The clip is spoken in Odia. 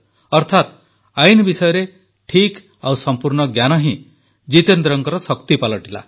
ଅର୍ଥାତ ଆଇନ ବିଷୟରେ ଠିକ୍ ଓ ସଂପୂର୍ଣ୍ଣ ଜ୍ଞାନ ହିଁ ଜିତେନ୍ଦ୍ରଙ୍କ ଶକ୍ତି ପାଲଟିଲା